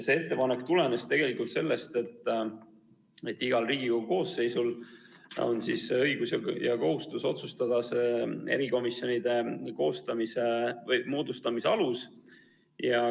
See ettepanek tulenes sellest, et igal Riigikogu koosseisul on õigus ja kohustus otsustada erikomisjonide koostamise moodustamise alus.